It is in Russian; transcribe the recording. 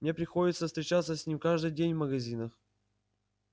мне приходится встречаться с ним каждый день в магазинах